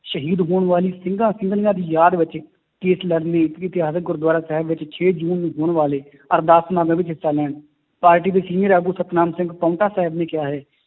ਸ਼ਹੀਦ ਹੋਣ ਵਾਲੀ ਸਿੰਘਾਂ ਸਿੰਘਣੀਆਂ ਦੀ ਯਾਦ ਵਿੱਚ case ਲੜਨ ਲਈ ਗੁਰੂਦੁਆਰਾ ਸਾਹਿਬ ਵਿੱਚ ਛੇ ਜੂਨ ਨੂੰ ਹੋਣ ਵਾਲੇ ਅਰਦਾਸ ਹਿੱਸਾ ਲੈਣ, ਪਾਰਟੀ ਦੇ senior ਆਗੂ ਸਤਿਨਾਮ ਸਿੰਘ ਪਹੁੰਟਾ ਸਾਹਿਬ ਨੇ ਕਿਹਾ ਹੈ